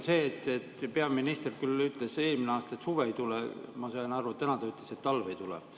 Peaminister küll ütles eelmine aasta, et suve ei tule, ma sain aru, et täna ta ütles, et talve ei tule.